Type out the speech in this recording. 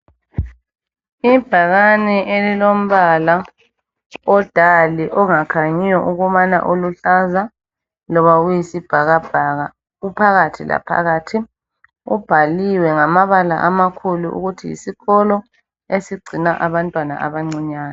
Ibhakane elilombala o dull angakhanyiyo ukubana uluhlaza loba uyisibhakabhaka uphakathi laphakathi kubhaliwe ngamabala amakhulu ukuthi yisikolo esigcina abantwana abancinyane.